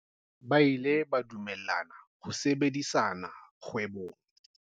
Ba ile ba dumellana ho sebedisana kgwebong.